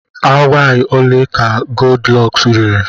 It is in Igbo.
Awaị ole ka Goldilọks riri?